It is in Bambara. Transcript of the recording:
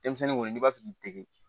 Denmisɛnnin kɔni n'i b'a fɛ k'i dege